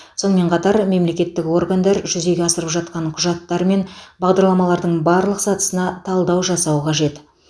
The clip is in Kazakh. сонымен қатар мемлекеттік органдар жүзеге асырып жатқан құжаттар мен бағдарламалардың барлық сатысына талдау жасау қажет